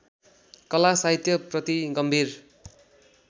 कला साहित्यप्रति गम्भीर